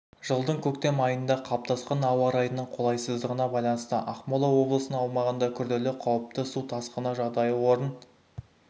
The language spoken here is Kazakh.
жылдың көктем айында қалыптасқан ауа-райының қолайсыздығына байланысты ақмола облысының аумағында күрделі қауіпті су тасқыны жағдайы орын